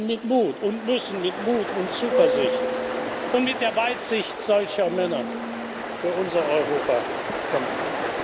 Wir können mit Mut und müssen mit Mut und Zuversicht und mit der Weitsicht solcher Männer für unser Europa kämpfen!